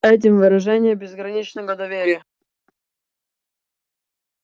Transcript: этим выражением безграничного доверия